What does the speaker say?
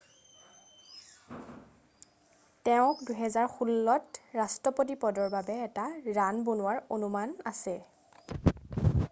তেওঁক 2016ত ৰাষ্ট্ৰপতি পদৰ বাবে এটা ৰাণ বনোৱাৰ অনুমান আছে